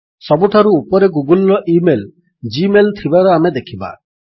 ସବୁଠାରୁ ଉପରେ ଗୁଗଲ୍ ର ଇମେଲ୍ ଜି ମେଲ୍ ଥିବାର ଆମେ ଦେଖିବା